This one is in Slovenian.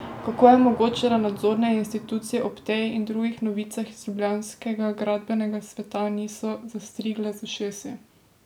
Kako je mogoče, da nadzorne institucije ob tej in drugih novicah iz ljubljanskega gradbenega sveta niso zastrigle z ušesi?